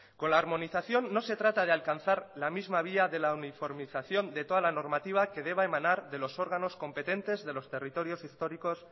con la armonización no se trata de alcanzar la misma vía de la uniformización de toda normativa que deba emanar de los órganos competentes de los territorios históricos